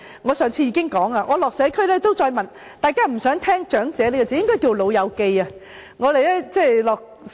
我上次已經提到，我探訪社區時，大家都不想聽到"長者"一詞，應該說"老友記"。